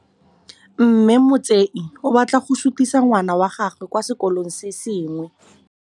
Mme Motsei o batla go sutisa ngwana wa gagwe kwa sekolong se sengwe.